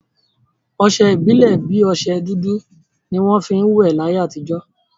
Ọsẹ ìbílè bi ọsẹ dúdú ni wọn fi ń will láyé àtijọ́